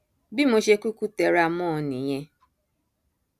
bí mo ṣe kúkú tẹra mọ ọn nìyẹn